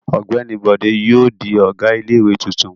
Ọ̀gbẹ́ni Bọ̀dé yóò di ọ̀gá ilé-ìwé tuntun.